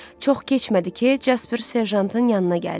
Çox keçmədi ki, Casper serjantın yanına gəldi.